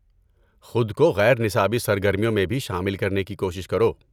خود کو غیر نصابی سرگرمیوں میں بھی شامل کرنے کی کوشش کرو۔